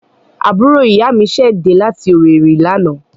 Àbúrò ìyá mi ṣẹ̀ dẹ́ láti Owerri lánàá.